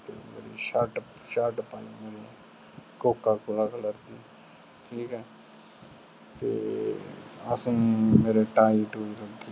shirt ਪਾਈ ਮੇਰੇ Coca Cola color ਦੀ ਤੇ ਅਸੀਂ ਮੇਰੇ tie ਤੂਈ ਲਾਗਿ ਸੀ